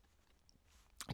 DR K